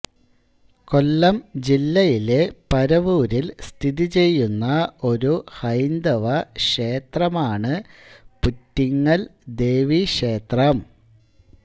കൊല്ലം ജില്ലയിലെ പരവൂരിൽ സ്ഥിതിചെയ്യുന്ന ഒരു ഹൈന്ദവ ക്ഷേത്രമാണ് പുറ്റിങ്ങൽ ദേവീക്ഷേത്രം